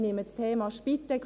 Ich nehme das Thema Spitex.